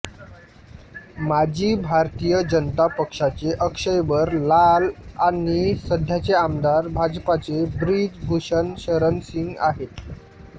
माजी भारतीय जनता पक्षाचे अक्षयबर लाल आणि सध्याचे आमदार भाजपाचे ब्रिज भूषण शरण सिंग आहेत